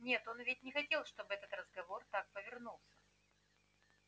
нет он ведь не хотел чтобы этот разговор так повернулся